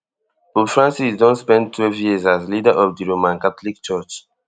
pope francis don spend twelve years as leader of di roman catholic church